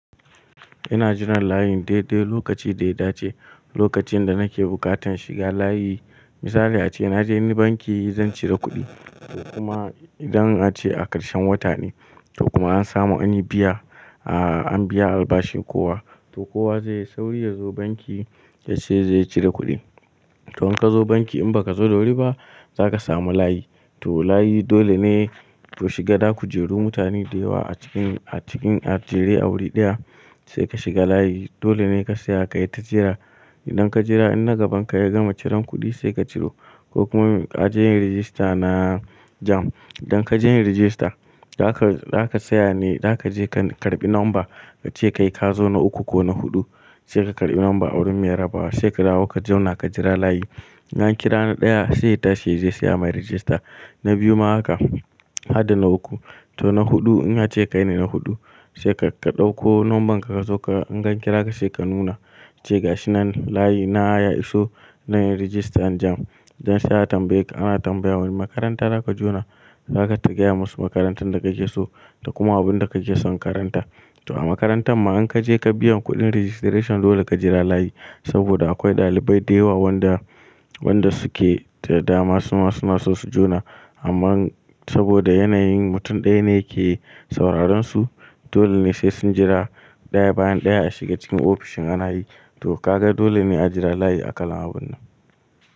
Ina jiran layi dai dai lokaci da ya dace. Lokacin da nake bukatan shiga layi misali ace naje ni banki zan cire kuɗi kuma idan a ce a ƙarshen wata ne to kuma an samu ani biya a an biya albashin kowa to kowa zai yi sauri ya zo banki ya ce zai cire kuɗi. To in ka zo banki in ba ka zo da wuri ba za ka samu layi. To layi dole ne ku shiga za ku jeru mutane da yawa a cikin a cikin a jere a wuri ɗaya sai ka shiga layi. Dole ne ka tsaya ka yi ta jira idan ka jira in na gaban ka ya gama ciran kuɗi sai ka ciro ko kuma a je yin rajista na JAMB. Idan ka je yin rajista za ka za ka tsaya ne za ka je ka karɓi namba ka ce kai ka zo na uku ko na huɗu sai ka karɓi namba a wurin mai raba wa sai ka dawo ka zauna ka jira layi. In an kira na ɗaya sai ya tashi ya je ayi masa rajista na biyu ma haka har da na uku to na huɗu in a ce kai ne na huɗu sai ka ɗauko nambarka ka zo in an kira ka sai ka nuna cewa ga shi nan layi na ya iso na yin rajistan JAMB. Sai a tambaye ka ana tambaye ka wanne makaranta za ka jone za ka gaya musu makarantar da kake so da kuma abin da kake son ka karanta. To a makarantar ma in ka je ka biya kuɗin registration dole ka jira layi saboda akwai ɗalibai da yawa wadda wadda su ke da dama suna suna so su jona. Amma saboda yanayin mutum ɗaya ne yake sauraron su dole ne sai sun jira ɗaya bayan ɗaya a shiga cikin ofishin anayi. To ka ga dole ne a jira layi a kalan abun nan.